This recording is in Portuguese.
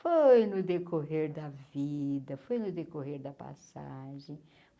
Foi no decorrer da vida, foi no decorrer da passagem.